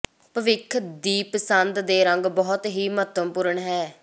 ਭਵਿੱਖ ਦੀ ਪਸੰਦ ਦੇ ਰੰਗ ਬਹੁਤ ਹੀ ਮਹੱਤਵਪੂਰਨ ਹੈ